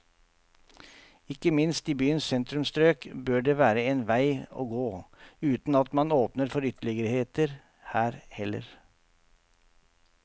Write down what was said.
Ikke minst i byens sentrumsstrøk bør det være en vei å gå, uten at man åpner for ytterligheter her heller.